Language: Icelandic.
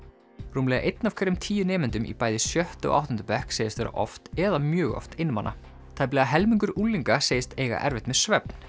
rúmlega einn af hverjum tíu nemendum í bæði sjötta og áttunda bekk segist vera oft eða mjög oft einmana tæplega helmingur unglinga segist eiga erfitt með svefn